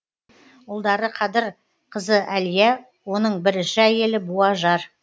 ұлдары қадыр қызы әлия оның бірінші әйелі буажар